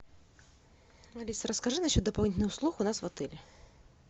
алиса расскажи насчет дополнительных услуг у нас в отеле